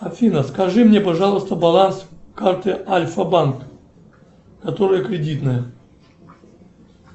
афина скажи мне пожалуйста баланс карты альфа банк которая кредитная